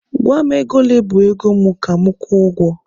Gwa m ego ole bụ ego mụ ka mụ kwụọ ụgwọ!